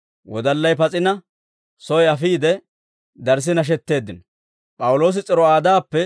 Wodallay pas'ina, soy afiide, darssi nashetteeddino.